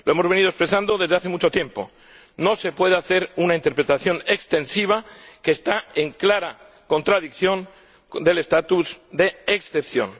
La hemos venido expresando desde hace mucho tiempo no se puede hacer una interpretación extensiva, que está en clara contradicción con el estatus de excepción.